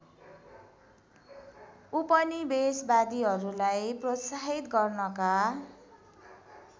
उपनिवेशवादीहरूलाई प्रोत्साहित गर्नका